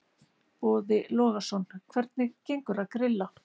Boði Logason: Hvernig gengur að grilla?